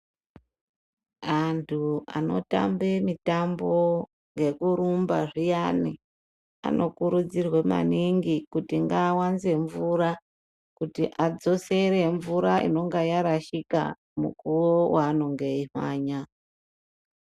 Anthu anotambe mitambo yekurumba zviyani anokurudzirwe maningi kuti ngaawanze mvura kuti adzosere mvura inonga yarashika mukuwo waanonge eimhanya.